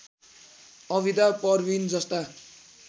अविदा परविन जस्ता